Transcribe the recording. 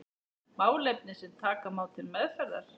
Málefni sem taka má til meðferðar.